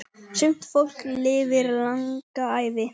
Sumt fólk lifir langa ævi.